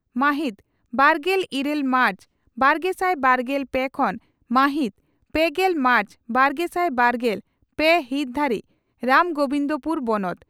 ᱢᱟᱦᱤᱛ ᱵᱟᱨᱜᱮᱞ ᱤᱨᱟᱹᱞ ᱢᱟᱨᱪ ᱵᱟᱨᱜᱮᱥᱟᱭ ᱵᱟᱨᱜᱮᱞ ᱯᱮ ᱠᱷᱚᱱ ᱢᱟᱦᱤᱛ ᱯᱮᱜᱮᱞ ᱢᱟᱨᱪ ᱵᱟᱨᱜᱮᱥᱟᱭ ᱵᱟᱨᱜᱮᱞ ᱯᱮ ᱦᱤᱛ ᱫᱷᱟᱹᱨᱤᱡ ᱨᱟᱥᱜᱚᱵᱤᱱᱫᱽᱯᱩᱨ ᱵᱚᱱᱚᱛ